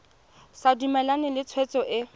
sa dumalane le tshwetso e